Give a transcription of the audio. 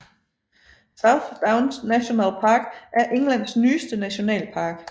South Downs National Park er Englands nyeste nationalpark